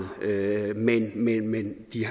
men de